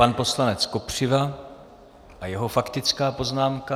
Pan poslanec Kopřiva a jeho faktická poznámka.